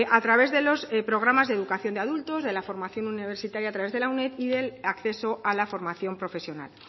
a través de los programas de educación de adultos de la formación universitaria a través de la uned y del acceso a la formación profesional